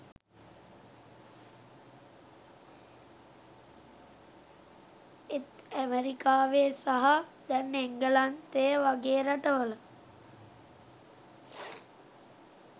එත් ඇමරිකාවේ සහ දැන් එංගලන්තය වගේ රටවල